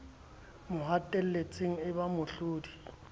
mo hatelletseng e ba mohlodi